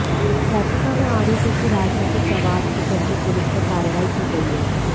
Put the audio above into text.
याचिका में आरोप है कि राजनैतिक दबाव के चलते पुलिस पर कार्रवाई की गई है